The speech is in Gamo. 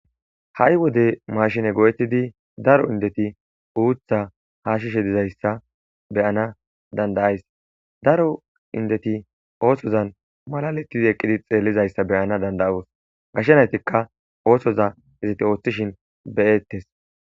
ha7i wode mashine go7ettidi daro indeti uutha hashishe dizayssa beyana danda'ays daro indeti oosozan malalettidi eqqidi xeellizayssa beyana dandayoos gashshe naytikka oosoza izite ooththishin beyettes